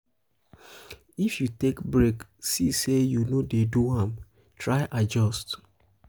if you take break see say you no de do am try adjust